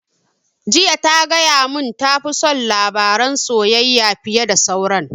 Jiya ta gaya mun ta fi son labaran soyayya fiye da sauran